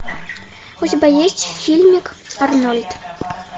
у тебя есть фильмик арнольд